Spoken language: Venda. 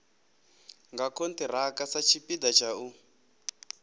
nga khonthiraka satshipida tsha u